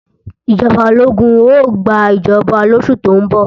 Ìjọba ológun ó gbàjọba lóṣù tó ń bọ̀